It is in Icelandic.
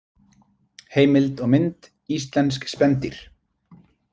Heimild og mynd: Íslensk spendýr.